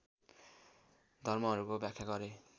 धर्महरूको व्याख्या गरे